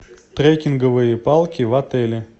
трекинговые палки в отеле